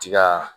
Tiga